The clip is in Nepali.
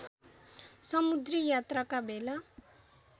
समुद्री यात्राका बेला